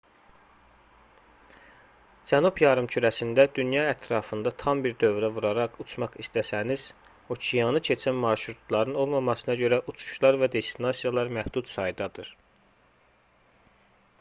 cənub yarımkürəsində dünya ətrafında tam bir dövrə vuraraq uçmaq istəsəniz okeanı keçən marşrutların olmamasına görə uçuşlar və destinasiyalar məhdud saydadır